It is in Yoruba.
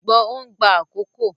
Ṣùgbọ́n ó ń gba àkókò.